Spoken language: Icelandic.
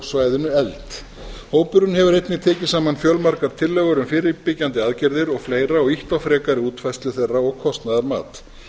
svæðinu efld hópurinn hefur einnig tekið saman fjölmargar tillögur um fyrirbyggjandi aðgerðir og fleiri og ýtt á frekari útfærslu þeirra og kostnaðarmat